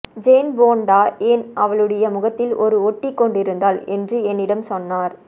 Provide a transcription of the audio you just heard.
Jane Fonda ஏன் அவளுடைய முகத்தில் ஒரு ஒட்டிக்கொண்டிருந்தாள் என்று என்னிடம் சொன்னார்